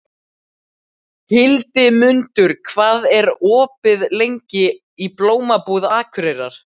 Hildimundur, hvað er opið lengi í Blómabúð Akureyrar?